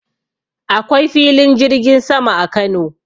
Akwai filin jirgin sama a Kano.